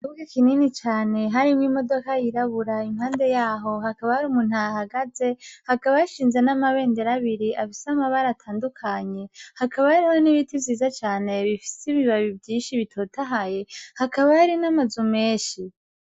Ikibuga kinini cane harimwo imodoka yirabura impande yaho hakaba hari umuntu ahahagaze hakaba hashinze n'amabendera abiri y'amabara atandukanye, hakaba hari n'ibiti vyiza cane bifise ibibabi vyinshi bitotahaye, hakaba hari n'amazu menshi.